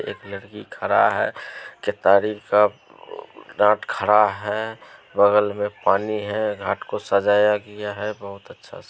एक लड़की खड़ा है डाट खड़ा है बगल में पानी है घाट को सजाया गया है बोहत अच्छा सा--